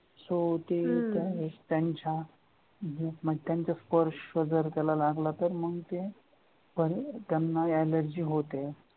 so ति त्या त्यांच्या group मध्ये स्पर्श जर त्याला लागला तर त्यांना allergy होते.